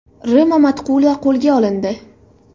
R. Mahmatqulova qo‘lga olindi.